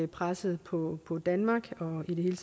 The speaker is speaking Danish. presset på på danmark og i det hele